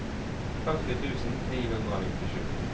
førti tusen ni hundre og nittisju